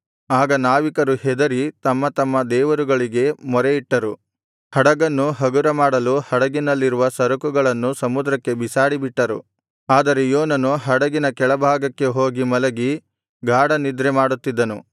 ಆಗ ನಾವಿಕರು ಹೆದರಿ ತಮ್ಮತಮ್ಮ ದೇವರುಗಳಿಗೆ ಮೊರೆಯಿಟ್ಟರು ಹಡಗನ್ನು ಹಗುರ ಮಾಡಲು ಹಡಗಿನಲ್ಲಿರುವ ಸರಕುಗಳನ್ನು ಸಮುದ್ರಕ್ಕೆ ಬಿಸಾಡಿಬಿಟ್ಟರು ಆದರೆ ಯೋನನು ಹಡಗಿನ ಕೆಳಭಾಗಕ್ಕೆ ಹೋಗಿ ಮಲಗಿ ಗಾಢನಿದ್ರೆ ಮಾಡುತ್ತಿದ್ದನು